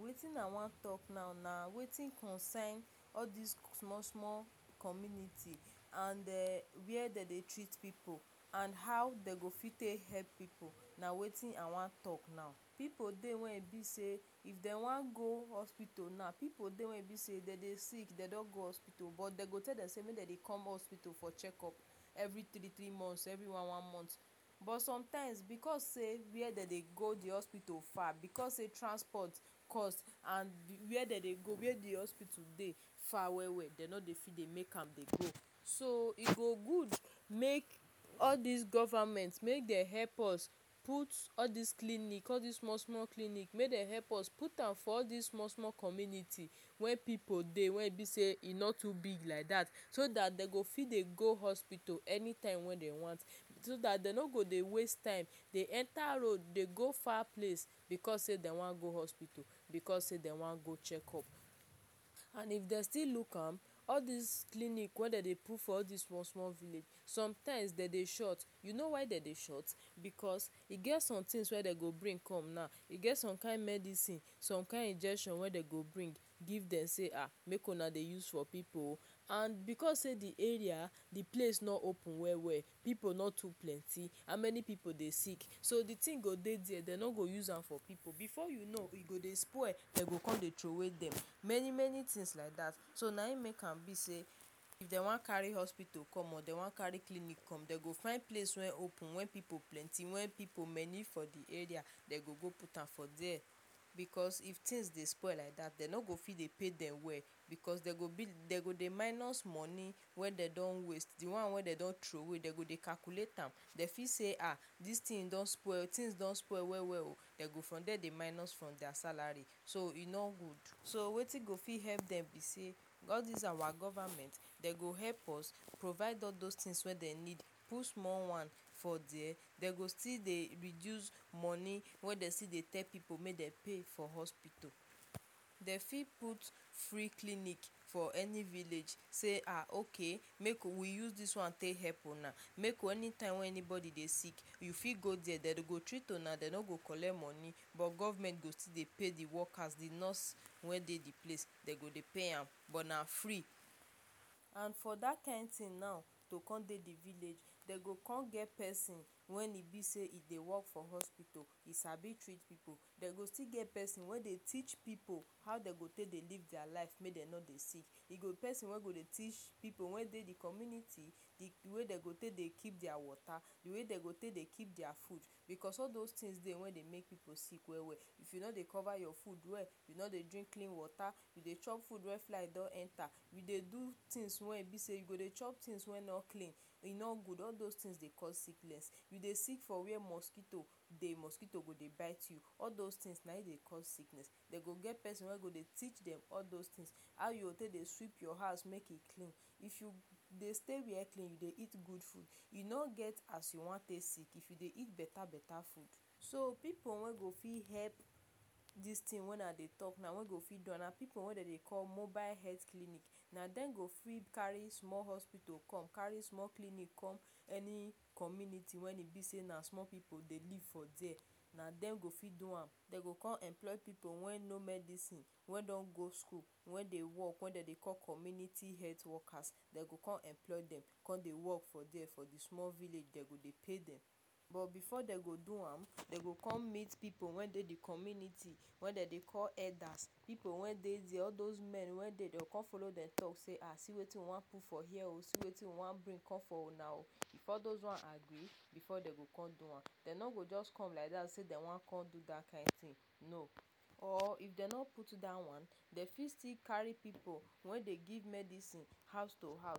Wetin I wan talk now na wetin concern all this small small community and where dey dey treat pipu, and how dey go fit take help pipu — na wetin I wan talk now. Pipu dey wey e be say if dem wan go hospital na, pipu dey wey e be say if dey dey sick, dey no go hospital. But dey go tell dem say make dey come hospital for check-up every three-three months, every one-one month. But sometimes, because say where dey dey go hospital far, because say transport cost and where dey dey go, where the hospital dey far well well, dem no dey fit dey make am dey go. So e go good make all this govament make dem help us put all this clinic, all this small small clinic — make dem help us put for this small small community wey pipu dey, wey e be say e no too big like that — so that dey go fit dey go hospital anytime wey dey want. So that dey no go dey waste time dey enter road dey go far place because say dey wan go hospital, because say dey wan go check-up. And if dey still look am, all this clinic wey dey dey put for all this small small village, sometimes dey dey short. You know why dey dey short? Because e get somethings wey dey go bring come na, e get some kin medisin, some kin injection wey dey go bring give dem say, “um make una dey use for pipu oh.” And because say the area, the place no open well well, pipu no too plenty — how many pipu dey sick? So the thin go dey there, dem no go use am for pipu. Before you know, e go dey spoil, dem go come dey troway dem — many many things like that. So na him make am be say if dey wan carry hospital come or carry clinic come, dey go find place wey open, wey pipu plenty, wey pipu many for the area — dey go go put am for there. Because if things dey spoil like that, dey no go fit dey pay dem well, because dey go dey minus money wey dey don waste. The one wey dey don troway, dey go dey calculate am. Dey fit say, “ this thin don spoil. Things don spoil well well oh,” dey go from there dey minus from their salary. So e no good. So wetin go fit help dem be say, all this our govament dey go help us provide all those things wey dey need. Put small one for there, dey go still dey reduce money wey dey still dey tell pipu make dey pay for hospitul. Dey fit put free clinic for any village. Say “um okay, make we use this one take help una.” Make anytime wey anybody dey sick, e fit for there, and dey go treat una, dey no go collect money. But government go still dey pay the workers — the nurse wey dey the place, dey go dey pay am — but na free. And for that kin thin now, to come dey the village, dey go get pesin wen e be say e dey work for hospital and e sabi treat pipu. Dey go still get pesin wey dey teach pipu how dey take dey live their life make dey no dey sick. E go get pesin wey go still dey teach pipu wey dey the community the way dey go take dey keep their water, the way dey go take dey keep their food. Because all those things dey wey dey make pipu dey sick well well — if you no dey cover your food well, you no dey drink clean water, you dey chop food wey fly don enter, you dey do things wey e be say you go dey chop things wey e be say e no clean, e no good — all those things dey cause sickness. You dey sick for where mosquito dey, mosquito go dey bite you — all those things na him dey cause sickness. Dey go get pesin wey go dey teach dem all those things — how you go take dey take dey sweep your house make e clean. If you dey stay where clean dey, dey eat good food, e no get as you wan take sick if you dey eat beta beta food. So pipu wen go fit help this thin wen I dey talk now, wey go fit do am, na pipu wey dey dey call mobile health clinic. Na dem go fit carry small hospital come, carry small clinic come — any community wey e be say na small pipu dey live for there, na dem go fit do am. Dey come employ pipu wey know medisin, wey don go school, wey dey work — wey dey dey call community health workers. Dey go come employ dem come dey work for there, for the small village. Dey go dey pay dem. But before dey go do am, dey go come meet pipu wey dey the community, wey dey dey call elders — pipu wey dey there, all those men wey dey — dey come follow dem talk say “um see wetin we wan put for here oh, see wetin we wan bring come for una oh.” If all those one agree, before dey go come do am. Dey no go just come like that say dey wan do that kin thin — no. Or if dey no put that one, dey fit still carry pipu wey dey give medisin house to house.